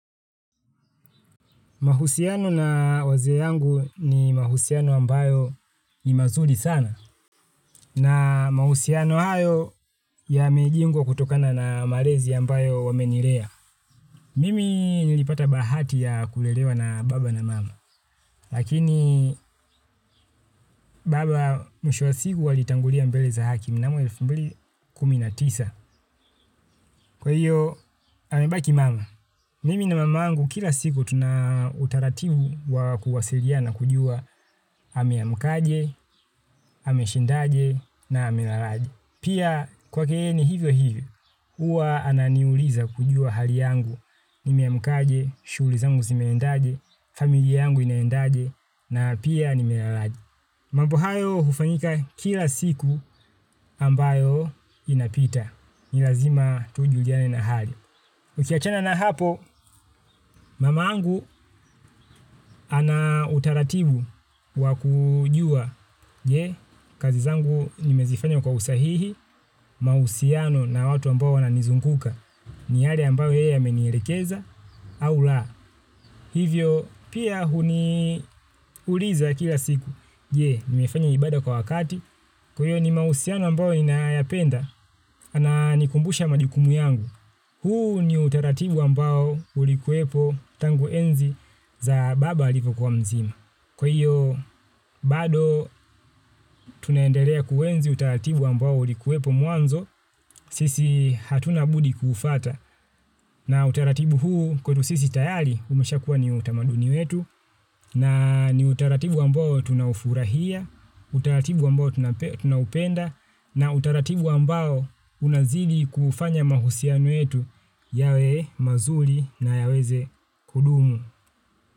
Mahusiano na wazee yangu ni mahusiano ambayo ni mazuri sana na mahusiano hayo yamejengwa kutokana na malezi ambayo wamenilea. Mimi nilipata bahati ya kulelewa na baba na mama. Lakini baba mwisho wa siku alitangulia mbele za haki mnamo elfu mbili kumi na tisa. Kwa hiyo amebaki mama. Mimi na mama yangu kila siku tuna utaratibu wa kuwasiliana kujua ameamkaje ameshindaje na ame lalaje. Pia kwa keeni hivyo hivyo, huwa ananiuliza kujua hali yangu. Nime amkaje, shughuli zangu zimeendaje, familia yangu inaendaje na pia nime lalaje. Mambo hayo hufanyika kila siku ambayo inapita. Ni lazima tujuliane na hali. Ukiachana na hapo, mamangu ana utaratibu wa kujua. Je, kazi zangu nimezifanya kwa usahihi, mahusiano na watu ambao wananizunguka. Ni hali ambayo yeye amenielekeza au la. Hivyo, pia huni uliza kila siku. Je, nimefanya ibada kwa wakati. Kwa hiyo ni mahusiano ambayo ninayapenda, ananikumbusha majukumu yangu. Huu ni utaratibu ambao ulikuwepo tangu enzi za baba alipokuwa mzima. Kwa hiyo, bado tunaendelea kuenzi utaratibu ambao ulikuwepo mwanzo sisi hatuna budi kufwata. Na utaratibu huu kwetu sisi tayari umesha kuwa ni utamaduni wetu na utaratibu ambao tunaufurahia, utaratibu ambao tunaupenda na utaratibu ambao unazidi kufanya mahusiano yetu yawe mazuri na yaweze kudumu.